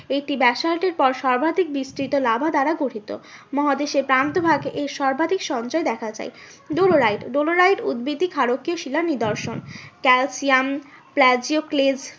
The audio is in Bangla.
এই ব্যাসাল্টের পর সর্বাধিক বিস্থিত লাভা দ্বারা গঠিত। মহাদেশের প্রান্ত ভাগে এই সর্বাধিক সঞ্চয় দেখা যায়। ডলোরাইট, ডলোরাইট উৎবেদী ক্ষারকীয় শিলার নিদর্শন। ক্যালসিয়াম